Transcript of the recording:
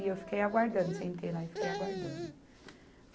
E eu fiquei aguardando, sentei lá e fiquei aguardando.